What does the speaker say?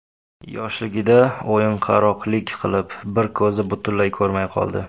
Yoshligida o‘yinqaroqlik qilib, bir ko‘zi butunlay ko‘rmay qoldi.